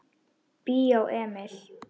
Bíó Emil.